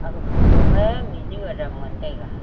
ag photo ma mihnu adam ngan taiga.